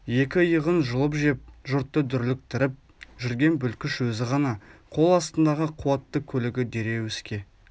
екі иығын жұлып жеп жұртты дүрліктіріп жүрген бүлкіш өзі ғана қол астындағы қуатты көлігі дереу іске